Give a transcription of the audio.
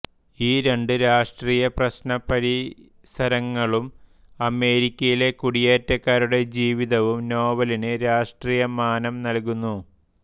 ഈ രണ്ട് രാഷ്ട്രീയ പ്രശ്ന പരിസരങ്ങളും അമേരിക്കയിലെ കുടിയേറ്റക്കാരുടെ ജീവിതവും നോവലിന് രാഷ്ട്രീയ മാനം നൽകുന്നു